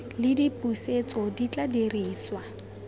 le dipusetso di tla dirisiwa